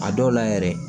A dɔw la yɛrɛ